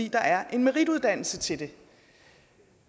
der er en merituddannelse til det